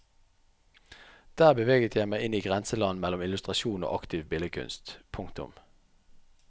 Der beveget jeg meg inn i grenseland mellom illustrasjon og aktiv billedkunst. punktum